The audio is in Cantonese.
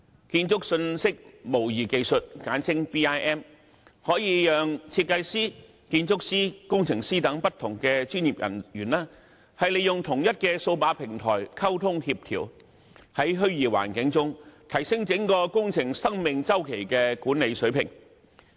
建築信息模擬技術可以讓設計師、建築師、工程師等不同專業人員利用同一數碼平台進行溝通和協調，在虛擬環境中提升整個工程生命周期的管理水平。